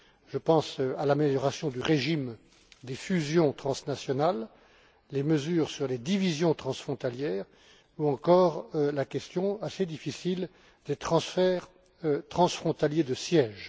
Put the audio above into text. Je pense à l'amélioration du régime des fusions transnationales, les mesures sur les divisions transfrontalières, ou encore la question assez difficile des transferts transfrontaliers de siège.